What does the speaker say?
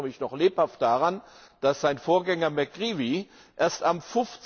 Ich erinnere mich noch lebhaft daran, dass sein Vorgänger McCreevy, erst am